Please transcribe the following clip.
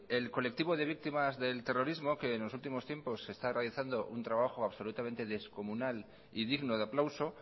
el colectivo de víctimas del terrorismo que en los últimos tiempos está realizando un trabajo absolutamente descomunal y digno de aplauso